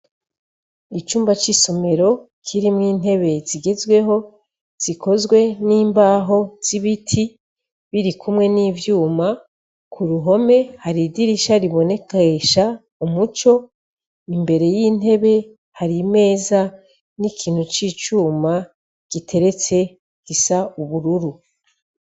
Icumba c'isomero k'irimwo intebe zigezweho zikozwe n'imbaho z'ibiti biri kumwe n'ivyuma ku ruhome hari idirisha ribonekesha umuco imbere y'intebe hari meza n'ikintu c'icuma giteretse isa ubururu.